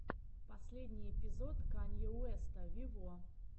последний эпизод канье уэста вево